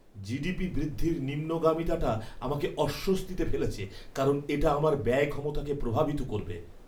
GDP বৃদ্ধির নিম্নগামিতাটা আমাকে অস্বস্তিতে ফেলেছে, কারণ এটা আমার ব্যয়ক্ষমতাকে প্রভাবিত করবে।